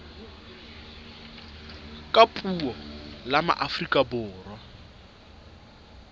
ka puo la afrika borwa